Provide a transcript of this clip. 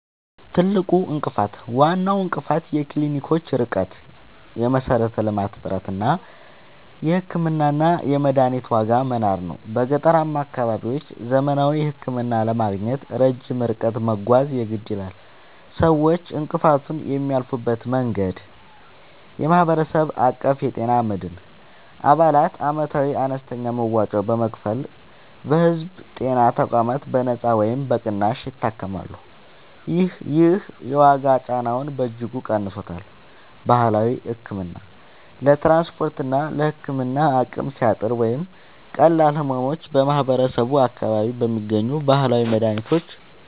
ትልቁ እንቅፋት፦ ዋናው እንቅፋት የክሊኒኮች ርቀት (የመሠረተ-ልማት እጥረት) እና የሕክምናና የመድኃኒት ዋጋ መናር ነው። በገጠራማ አካባቢዎች ዘመናዊ ሕክምና ለማግኘት ረጅም ርቀት መጓዝ የግድ ይላል። ሰዎች እንቅፋቱን የሚያልፉበት መንገድ፦ የማህበረሰብ አቀፍ የጤና መድን፦ አባላት ዓመታዊ አነስተኛ መዋጮ በመክፈል በሕዝብ ጤና ተቋማት በነጻ ወይም በቅናሽ ይታከማሉ። ይህ የዋጋ ጫናውን በእጅጉ ቀንሶታል። ባህላዊ ሕክምና፦ ለትራንስፖርትና ለሕክምና አቅም ሲያጥር ወይም ለቀላል ሕመሞች ማህበረሰቡ በአካባቢው በሚገኙ ባህላዊ